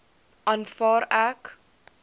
aanvaar ek